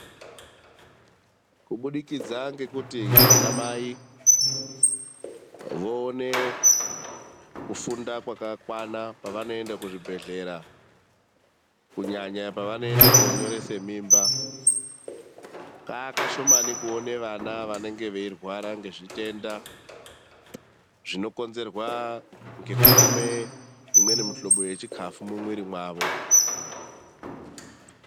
Kubudikidza ngekuti anamai voone kufunda kwakakwana pevanoende kuchibhehlera ,kunyanya pavanoende konyorese mimba, kakashomani kuone vana vanenge veirwara ngezvitenda zvinokonzerwa ngekutama imweni mihlobo yechikafu mumuiri mwavo .